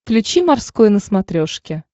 включи морской на смотрешке